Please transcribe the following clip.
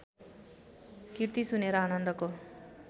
कृति सुनेर आनन्दको